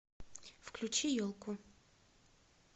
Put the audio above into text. включи елку